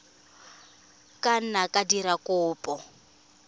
ka nna wa dira kopo